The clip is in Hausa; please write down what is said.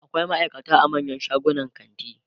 akwai maaikata a manyan shagunan kanti